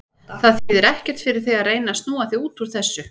Það þýðir ekkert fyrir þig að reyna að snúa þig út úr þessu.